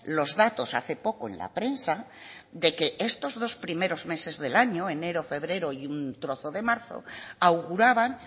los datos hace poco en la prensa de que estos dos primero meses del año enero febrero y un trozo de marzo auguraban